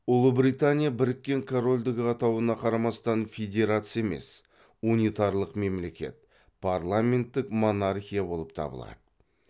ұлыбритания біріккен корольдігі атауына қарамастан федерация емес унитарлық мемлекет парламенттік монархия болып табылады